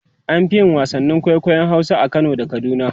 an Fi yin wasannin kwaikwayon Hausa a Kano da kaduna